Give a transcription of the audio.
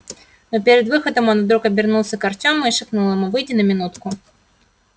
но перед выходом он вдруг обернулся к артему и шепнул ему выйди на минутку